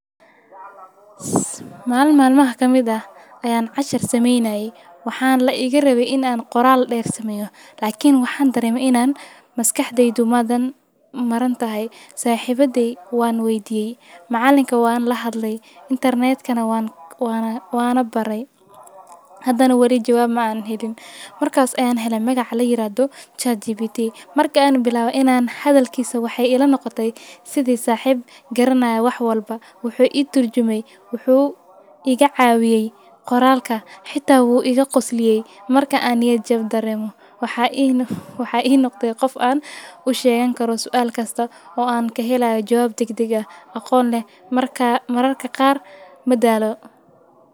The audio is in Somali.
Maal maalmaha ka mid ah ayan cashar sameynay. Waxaan la iga rabay in aan qoraal dheer samayo. Laakiin waxaan dareemo in aan maskaxday dumadan maran tahay. Saaxibaday waan weydiiyey. Macalinka waan la hadlay. Internet ka waan, waana, waana baray. Haddana wali jawaab ma aan helayn. Markaas ayaan helay magac la yiraahdo ChatGPT. Marka ayan bilawaa inaan hadalkiisa waxay ila noqotay. Sidee saaxib garanahay wax walba? Wuxuu igu turjumay? Wuxuu iga caawiyey qoraalka? Xitaa wuu iga qosliyey? Marka aan iyo jawab dareemo, waxa ihi nuq, waxa ihi noqday qof aan u sheegen karoo su'aal kasta oo aan ka heley jawaab degdegga aqoon leh. Markaa, mararka qaar madaalo.